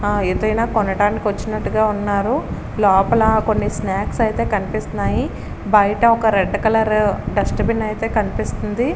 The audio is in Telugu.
ఆ ఏదైనా కొనడానికి వచ్చినట్టుగా ఉన్నారు లోపల కొన్ని స్నాక్స్ అయితే కనిపిస్తున్నాయి. బయట రెడ్ కలర్ డస్ట్ బిన్ కనిపిస్తుంది.